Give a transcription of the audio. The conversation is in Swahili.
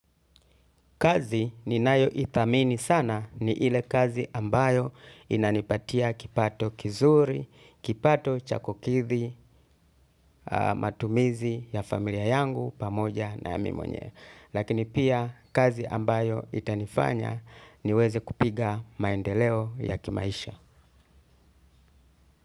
Kazi ni nayo itamini sana ni ile kazi ambayo inanipatia kipato kizuri, kipato chakokithi, matumizi ya familia yangu pamoja na mimonye. Lakini pia kazi ambayo itanifanya niweze kupiga maendeleo ya kimaisha.